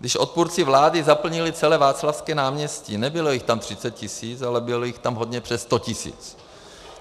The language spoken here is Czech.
Když odpůrci vlády zaplnili celé Václavské náměstí, nebylo jich tam 30 tisíc, ale bylo jich tam hodně přes 100 tisíc.